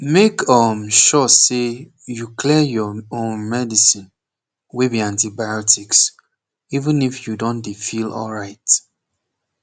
make um sure say you clear your um medicine wey be antibiotics even if you don dey feel alright